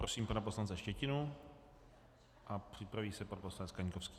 Prosím pana poslance Štětinu a připraví se pan poslanec Kaňkovský.